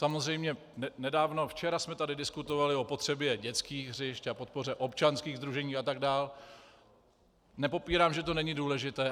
Samozřejmě nedávno, včera jsme tady diskutovali o potřebě dětských hřišť a podpoře občanských sdružení atd., nepopírám, že to není důležité.